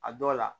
A dɔw la